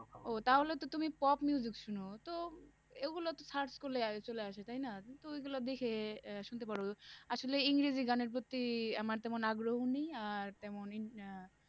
ও তাহলে তো তুমি pop শোনো তো এগুলো তো search করলেই আগে চলে আসে তাই না? তো গুলো দেখে আহ শুনতে পারো, আসলে ইংরেজি গানের প্রতি আমার এমন আগ্রহ ও নেই আর তেমন ইঁ আহ